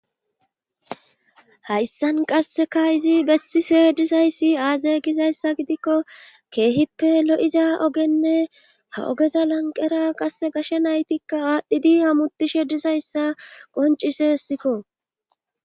hayssan qasseka izi bessishe dizayssi aaze gizayssa gidikko keehippe lo7iza ogenne ha ogeza lanqera qass gashe naytikka aadhdhidi amutishe dizayssa qoncisesiko